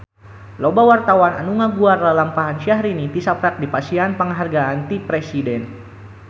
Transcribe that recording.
Loba wartawan anu ngaguar lalampahan Syahrini tisaprak dipasihan panghargaan ti Presiden